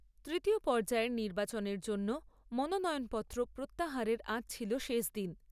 তৃতীয় পর্যায়ের নির্বচনের জন্য মনোনয়নপত্র প্রত্যাহারের আজ ছিল শেষ দিন।